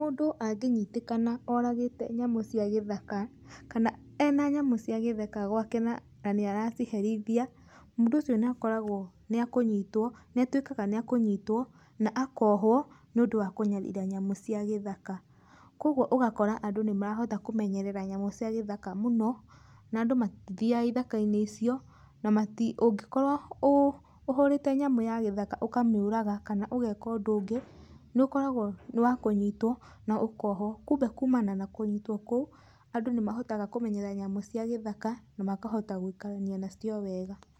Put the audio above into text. Mũndũ angĩnyitĩkana oragĩte nyamũ cia gĩthaka kana ena nyamũ cia gĩthaka gwake na nĩ araciherithia, mũndũ ũcio nĩakoragwo nĩatuĩkaga nĩekũnyitwo na akohũo nĩundũ wa kũnyarira nyamũ cia gĩthaka, kwoguo ũgakora andũ nĩ marahota kũmenyerera nyamũ cia gĩthaka mũno na andũ matithiaga ithakainĩ icio na mati ungĩkorwo ũhũrĩte nyamũ ya githaka ũkamĩũraga kana ũgeka ũndũ ũngĩ nĩ ũkoragwo nĩ wa kũnyitwo na ũkohwo. Kumbe kumana na kũnyitwo kũu andũ nĩ mahotaga kũmenyerera nyamũ cia gĩthaka na makahota gũikarania nacio wega.